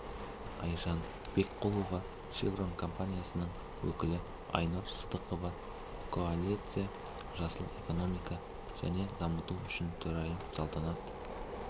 айжан бекқұлова шеврон компаниясының өкілі айнұр сыдықова коалиция жасыл экономика және дамыту үшін төрайымы салтанат